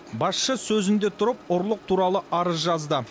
басшы сөзінде тұрып ұрлық туралы арыз жазды